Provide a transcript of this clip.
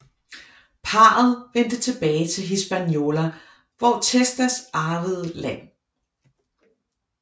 Parret vendte tilbage til Hispaniola hvor Testas arvede land